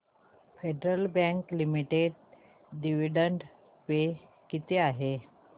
federal bank limited dividend pay किती आहे